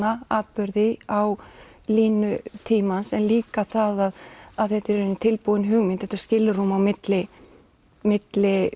atburði á línu tímans líka það að þetta er í raun tilbúin hugmynd þetta er skilrúm á milli milli